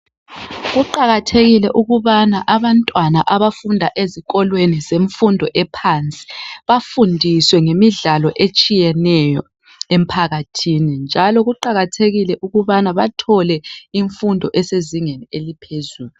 Kuqakathekile ukubana abantwana abafunda ezikolweni zemfundo ephansi bafundiswe ngemidlalo etshiyeneyo emphakathini, njalo kuqakathekile ukubana bathole imfundo esezingeni eliphezulu.